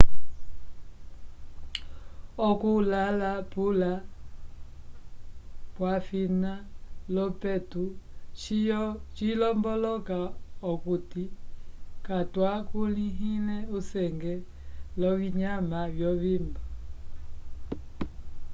oku lala pula wafina lopetu cilomboloka akuti catwakulihile usenge lovinyama vyovimbo